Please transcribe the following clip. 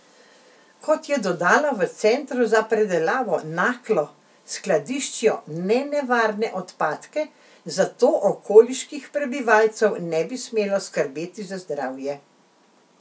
Kot je dodala, v Centru za predelavo Naklo skladiščijo nenevarne odpadke, zato okoliških prebivalcev ne bi smelo skrbeti za zdravje.